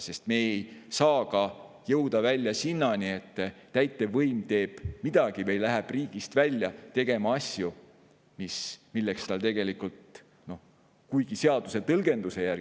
Sest me ei saa ka jõuda välja selleni, et täitevvõim teeb midagi või läheb riigist välja tegema asju, milleks tal tegelikult.